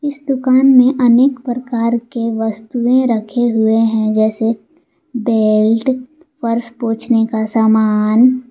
इस दुकान में अनेक प्रकार के वस्तुएं रखे हुए हैं जैसे बेल्ट पर्स पोंछने का सामान।